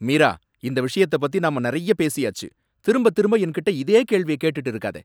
மீரா! இந்த விஷயத்தை பத்தி நாம நிறைய பேசியாச்சு. திரும்பத் திரும்ப என்கிட்ட இதே கேள்விய கேட்டுட்டு இருக்காத.